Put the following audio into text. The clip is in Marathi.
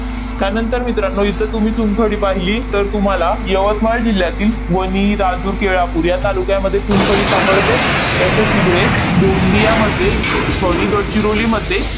त्यानंतर मित्रांनो, इथं तुम्ही चुनखडी पाहिली, तर तुम्हाला यवतमाळ जिल्ह्यातील वनी, राजूर, केळापूर या तालुक्यामध्ये चुनखडी सापडते. तर ते तिकडे गोंदियामध्ये अह sorry गडचिरोलीमध्ये